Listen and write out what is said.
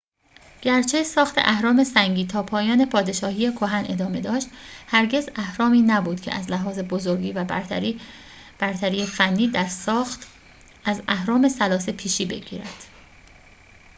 گرچه ساخت اهرام سنگی تا پایان پادشاهی کهن ادامه داشت هرگز اهرامی نبود که از لحاظ بزرگی و برتری فنی در ساخت از اهرام ثلاثه پیشی بگیرد